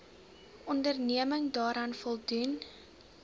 onderneming daaraan voldoen